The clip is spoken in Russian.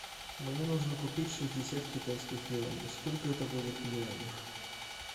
мне нужно купить шестьдесят китайских юаней сколько это будет в юанях